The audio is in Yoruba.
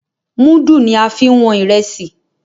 mudu ní a fín wón Ìrẹsí.